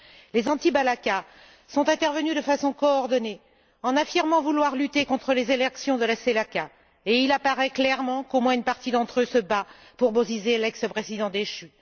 Les anti balaka sont intervenus de façon coordonnée en affirmant vouloir lutter contre les exactions de la Selaka. Et il apparaît clairement qu'au moins une partie d'entre eux se bat pour Bozizé, l'ex président déchu.